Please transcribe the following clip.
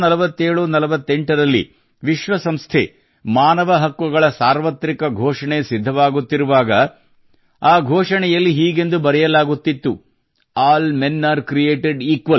194748 ರಲ್ಲಿ ವಿಶ್ವ ಸಂಸ್ಥೆ ಮಾನವ ಹಕ್ಕುಗಳ ಸಾರ್ವತ್ರಿಕ ಘೋಷಣೆ ಸಿದ್ಧವಾಗುತ್ತಿರುವಾಗ ಆ ಘೋಷಣೆಯಲ್ಲಿ ಹೀಗೆ ಬರೆಯಲಾಗುತ್ತಿತ್ತು all men are created equal